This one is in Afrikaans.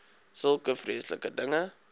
sulke vreeslike dinge